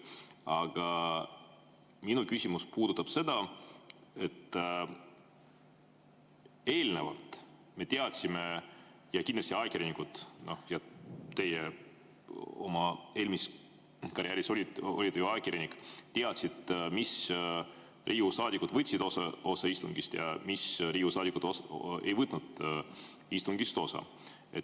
Aga minu küsimus puudutab seda, et eelnevalt me teadsime ja kindlasti ajakirjanikud – ka teie oma karjääri jooksul olete ju ajakirjanik olnud – teadsid, mis Riigikogu saadikud võtsid istungist osa ja mis Riigikogu saadikud ei võtnud istungist osa.